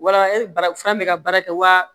Wala bana fura bɛ ka baara kɛ wa